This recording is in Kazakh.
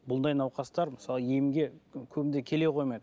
бұндай науқастар мысалы емге көбінде келе қоймайды